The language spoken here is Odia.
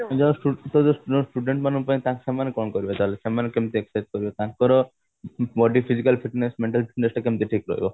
student ମାନଙ୍କ ପାଇଁ ତ ସେମାନେ କଣ କରିବେ ତାହେଲେ ସେମାନେ କେମତି exercise କରିବେ ତାଙ୍କର body physical fitness maintain ସେଟା କେମତି ଠିକ ରହିବ